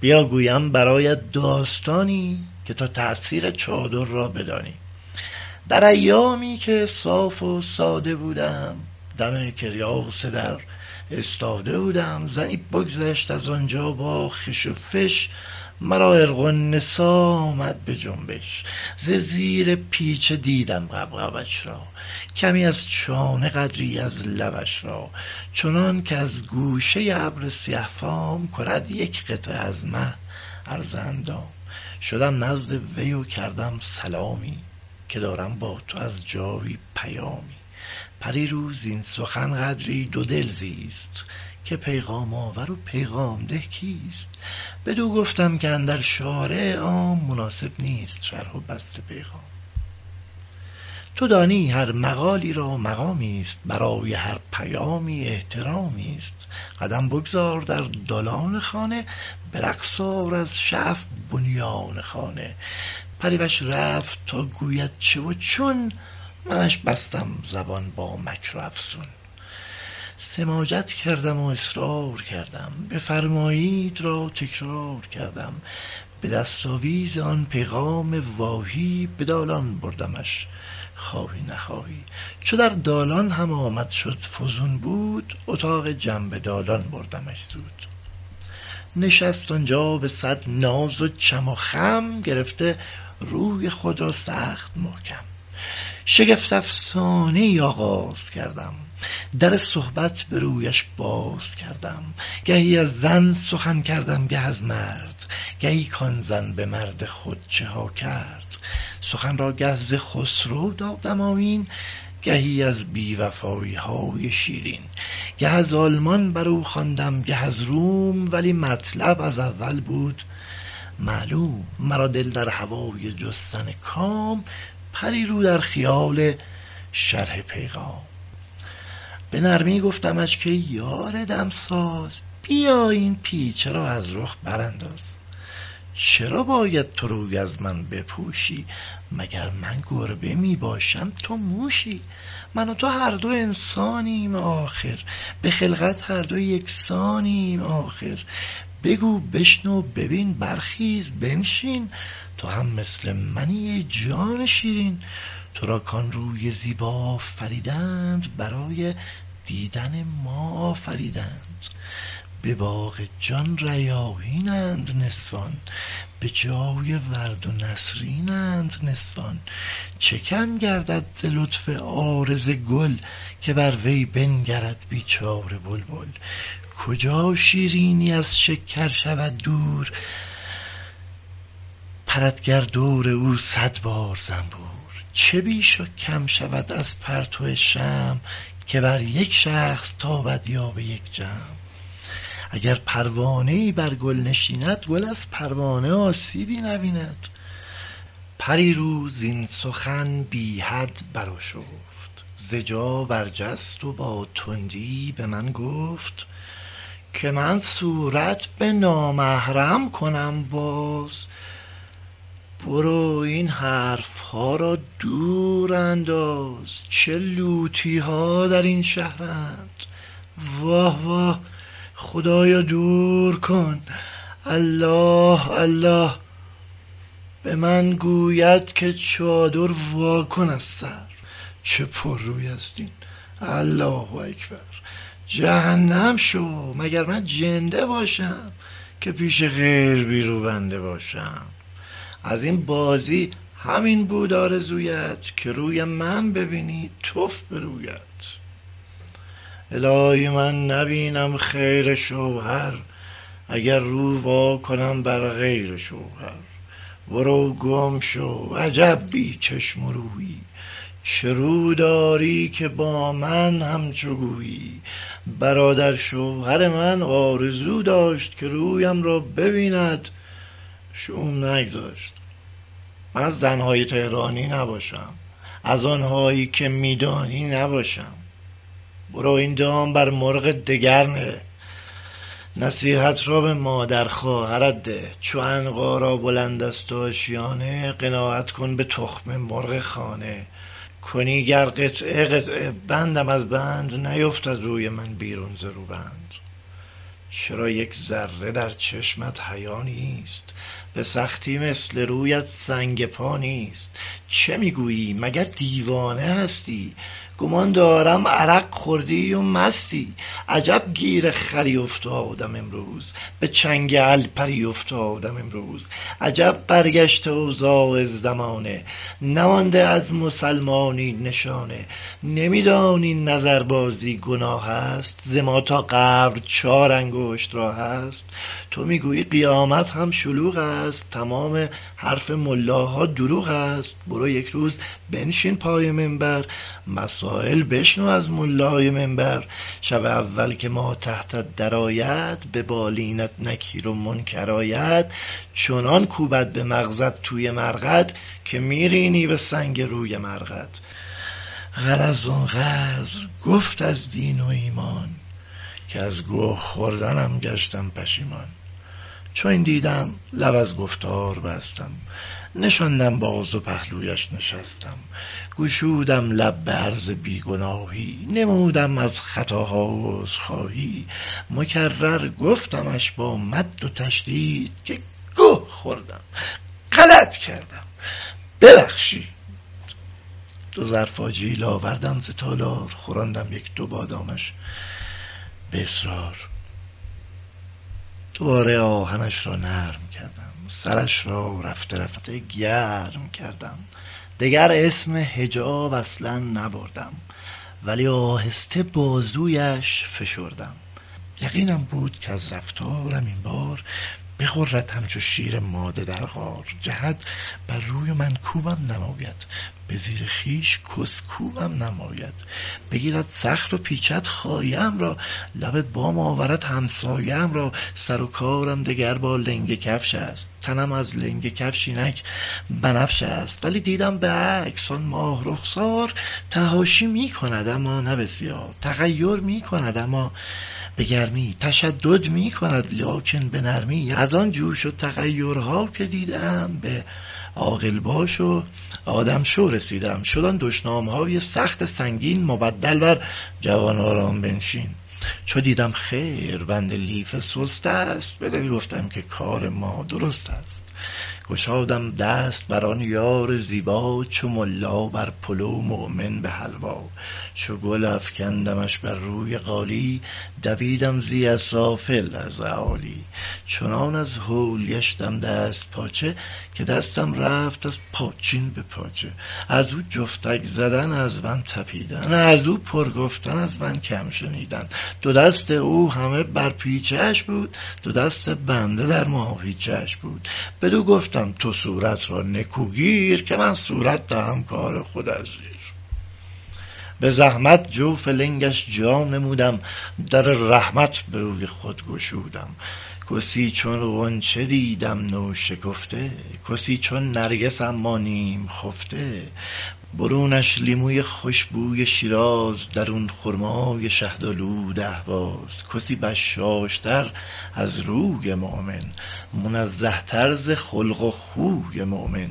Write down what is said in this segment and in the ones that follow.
بیا گویم برایت داستانی که تا تأثیر چادر را بدانی در ایامی که صاف و ساده بودم دم کریاس در استاده بودم زنی بگذشت از آنجا با خش و فش مرا عرق النسا آمد به جنبش ز زیر پیچه دیدم غبغبش را کمی از چانه قدری از لبش را چنان کز گوشه ابر سیه فام کند یک قطعه از مه عرض اندام شدم نزد وی و کردم سلامی که دارم با تو از جایی پیامی پری رو زین سخن قدری دودل زیست که پیغام آور و پیغام ده کیست بدو گفتم که اندر شارع عام مناسب نیست شرح و بسط پیغام تو دانی هر مقالی را مقامیست برای هر پیامی احترامیست قدم بگذار در دالان خانه به رقص آر از شعف بنیان خانه پری وش رفت تا گوید چه و چون منش بستم زبان با مکر و افسون سماجت کردم و اصرار کردم بفرمایید را تکرار کردم به دستاویز آن پیغام واهی به دالان بردمش خواهی نخواهی چو در دالان هم آمد شد فزون بود اتاق جنب دالان بردمش زود نشست آنجا به صد ناز و چم و خم گرفته روی خود را سخت محکم شگفت افسانه ای آغاز کردم در صحبت به رویش باز کردم گهی از زن سخن کردم گه از مرد گهی کان زن به مرد خود چه ها کرد سخن را گه ز خسرو دادم آیین گهی از بی وفایی های شیرین گه از آلمان برو خواندم گه از روم ولی مطلب از اول بود معلوم مرا دل در هوای جستن کام پری رو در خیال شرح پیغام به نرمی گفتمش کای یار دمساز بیا این پیچه را از رخ برانداز چرا باید تو روی از من بپوشی مگر من گربه می باشم تو موشی من و تو هر دو انسانیم آخر به خلقت هر دو یکسانیم آخر بگو بشنو ببین برخیز بنشین تو هم مثل منی ای جان شیرین تو را کان روی زیبا آفریدند برای دیدۀ ما آفریدند به باغ جان ریاحینند نسوان به جای ورد و نسرینند نسوان چه کم گردد ز لطف عارض گل که بر وی بنگرد بیچاره بلبل کجا شیرینی از شکر شود دور پرد گر دور او صد بار زنبور چه بیش و کم شود از پرتو شمع که بر یک شخص تابد یا به یک جمع اگر پروانه ای بر گل نشیند گل از پروانه آسیبی نبیند پری رو زین سخن بی حد برآشفت ز جا برجست و با تندی به من گفت که من صورت به نامحرم کنم باز برو این حرف ها را دور انداز چه لوطی ها در این شهرند واه واه خدایا دور کن الله الله به من گوید که چادر واکن از سر چه پررویست این الله اکبر جهنم شو مگر من جنده باشم که پیش غیر بی روبنده باشم از این بازی همین بود آرزویت که روی من ببینی تف به رویت الهی من نبینم خیر شوهر اگر رو واکنم بر غیر شوهر برو گم شو عجب بی چشم و رویی چه رو داری که با من همچو گویی برادرشوهر من آرزو داشت که رویم را ببیند شوم نگذاشت من از زن های طهرانی نباشم از آنهایی که می دانی نباشم برو این دام بر مرغ دگر نه نصیحت را به مادر خواهرت ده چو عنقا را بلند است آشیانه قناعت کن به تخم مرغ خانه کنی گر قطعه قطعه بندم از بند نیفتد روی من بیرون ز روبند چرا یک ذره در چشمت حیا نیست به سختی مثل رویت سنگ پا نیست چه می گویی مگر دیوانه هستی گمان دارم عرق خوردی و مستی عجب گیر خری افتادم امروز به چنگ الپری افتادم امروز عجب برگشته اوضاع زمانه نمانده از مسلمانی نشانه نمی دانی نظربازی گناه است ز ما تا قبر چار انگشت راه است تو می گویی قیامت هم شلوغ است تمام حرف ملاها دروغ است تمام مجتهدها حرف مفتند همه بی غیرت و گردن کلفتند برو یک روز بنشین پای منبر مسایل بشنو از ملای منبر شب اول که ماتحتت درآید به بالینت نکیر و منکر آید چنان کوبد به مغزت توی مرقد که می رینی به سنگ روی مرقد غرض آن قدر گفت از دین و ایمان که از گه خوردنم گشتم پشیمان چو این دیدم لب از گفتار بستم نشاندم باز و پهلویش نشستم گشودم لب به عرض بی گناهی نمودم از خطاها عذرخواهی مکرر گفتمش با مد و تشدید که گه خوردم غلط کردم ببخشید دو ظرف آجیل آوردم ز تالار خوراندم یک دو بادامش به اصرار دوباره آهنش را نرم کردم سرش را رفته رفته گرم کردم دگر اسم حجاب اصلا نبردم ولی آهسته بازویش فشردم یقینم بود کز رفتار این بار بغرد همچو شیر ماده در غار جهد بر روی و منکوبم نماید به زیر خویش کس کوبم نماید بگیرد سخت و پیچد خایه ام را لب بام آورد همسایه ام را سر و کارم دگر با لنگه کفش است تنم از لنگه کفش اینک بنفش است ولی دیدم به عکس آن ماه رخسار تحاشی می کند اما نه بسیار تغیر می کند اما به گرمی تشدد می کند لیکن به نرمی از آن جوش و تغیرها که دیدم به عاقل باش و آدم شو رسیدم شد آن دشنام های سخت سنگین مبدل بر جوان آرام بنشین چو دیدم خیر بند لیفه سست است به دل گفتم که کار ما درست است گشادم دست بر آن یار زیبا چو ملا بر پلو مؤمن به حلوا چو گل افکندمش بر روی قالی دویدم زی اسافل از اعالی چنان از هول گشتم دست پاچه که دستم رفت از پاچین به پاچه از او جفتک زدن از من تپیدن از او پر گفتن از من کم شنیدن دو دست او همه بر پیچه اش بود دو دست بنده در ماهیچه اش بود بدو گفتم تو صورت را نکو گیر که من صورت دهم کار خود از زیر به زحمت جوف لنگش جا نمودم در رحمت به روی خود گشودم کسی چون غنچه دیدم نوشکفته گلی چون نرگس اما نیم خفته برونش لیموی خوش بوی شیراز درون خرمای شهدآلود اهواز کسی بشاش تر از روی مؤمن منزه تر ز خلق و خوی مؤمن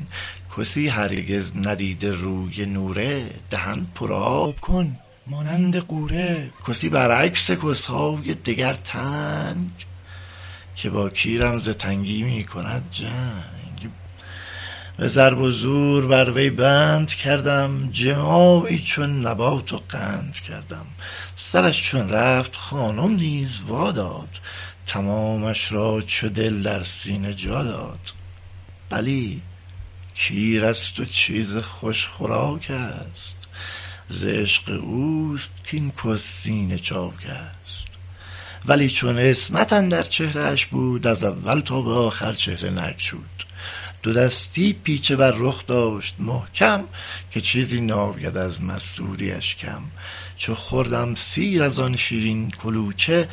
کسی هرگز ندیده روی نوره دهن پرآب کن مانند غوره کسی برعکس کس های دگر تنگ که با کیرم ز تنگی می کند جنگ به ضرب و زور بر وی بند کردم جماعی چون نبات و قند کردم سرش چون رفت خانم نیز وا داد تمامش را چو دل در سینه جا داد بلی کیر است و چیز خوش خوراک است ز عشق اوست کاین کس سینه چاک است ولی چون عصمت اندر چهره اش بود از اول تا به آخر چهره نگشود دو دستی پیچه بر رخ داشت محکم که چیزی ناید از مستوری اش کم چو خوردم سیر از آن شیرین کلوچه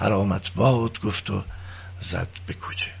حرامت باد گفت و زد به کوچه